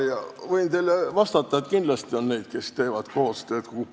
Võin teile vastata, et kindlasti on neid, kes teevad koostööd.